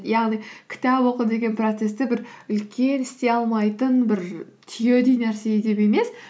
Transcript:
яғни кітап оқу деген процессті бір үлкен істей алмайтын бір түйедей нәрсе етіп емес